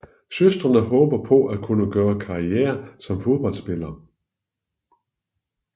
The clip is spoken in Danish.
Søsteren håber på at kunne gøre karriere som fodboldspiller